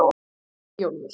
Eyjólfur